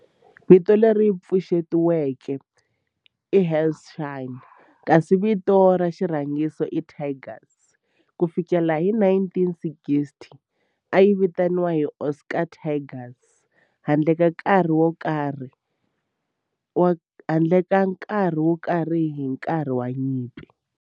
Vito leri pfuxetiweke i Hanshin kasi vito ra xirhangiso i Tigers. Ku fikela hi 1960, a yi vitaniwa Osaka Tigers handle ka nkarhi wo karhi hi nkarhi wa nyimpi.